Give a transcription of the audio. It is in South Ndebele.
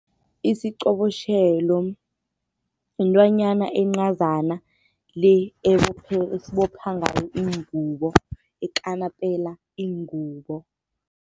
Isiqobotjhelo intwanyana encazana le esibopha ngayo iingubo, ekanapela iingubo.